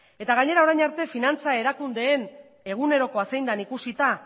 eta gainera orain arte finantza erakundeen egunerokoa zein den ikusita